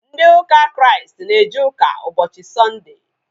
Ndị ụka Kraịst na eje ụka ụbọchị sọnde